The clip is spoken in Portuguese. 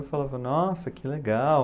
Eu falava, nossa, que legal.